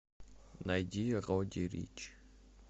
найди родди рич